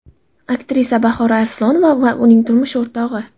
Aktrisa Bahora Arslonova va uning turmush o‘rtog‘i.